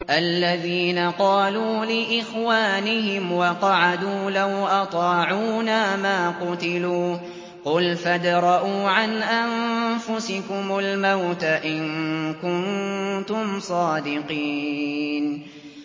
الَّذِينَ قَالُوا لِإِخْوَانِهِمْ وَقَعَدُوا لَوْ أَطَاعُونَا مَا قُتِلُوا ۗ قُلْ فَادْرَءُوا عَنْ أَنفُسِكُمُ الْمَوْتَ إِن كُنتُمْ صَادِقِينَ